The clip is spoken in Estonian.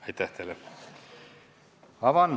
Esimene lugemine on lõpetatud.